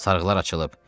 Sarğılar açılıb.